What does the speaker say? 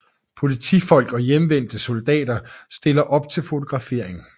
Politifolk og hjemvendte soldater stiller op til fotografering